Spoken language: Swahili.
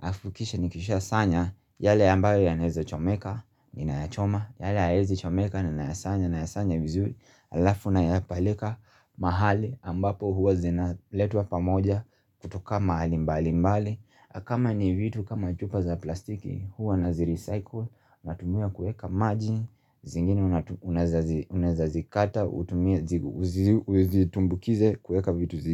alafu kisha nikisha sanya, yale ambayo yanaeza chomeka, ninayachoma, yale hayaezi chomeka, ninayasanya, nayasanya vizuri. Alafu nayapeleka mahali ambapo huwa zinaletwa pamoja kutoka mahali mbalimbali, na kama ni vitu kama chupa za plastiki huwa nazirecycle, Natumia kuweka maji zingine unaweza zikata utumie uzitumbukize kuweka vitu zingine.